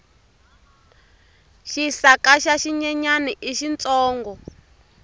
xisaka xa xinyenyani i xintsongo